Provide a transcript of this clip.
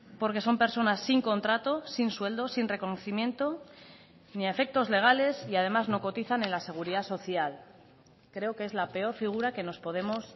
porque son personas sin contrato sin sueldo sin reconocimiento ni a efectos legales y además no cotizan en la seguridad social creo que es la peor figura que nos podemos